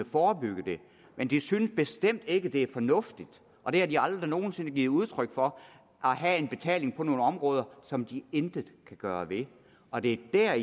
forebygge det men de synes bestemt ikke at det er fornuftigt og det har de aldrig nogen sinde givet udtryk for at have betaling på nogle områder som de intet kan gøre ved og det er